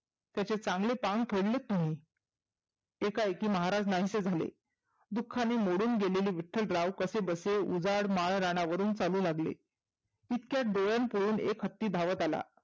त्याचे चांगले पांग फेडलेत तुम्ही. एकाएकी महाराज नाहीसे झाले. दुखानी मोडून गेलेले विठ्ठलराव कसे बसे उजाड माळ राणावरून चालू लागले. तितक्यात डोळन एक हत्ती धावत आला.